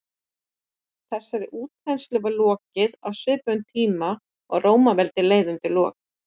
Þessari útþenslu var lokið á svipuðum tíma og Rómaveldi leið undir lok.